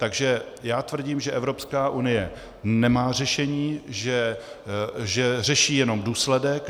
Takže já tvrdím, že Evropská unie nemá řešení, že řeší jenom důsledek.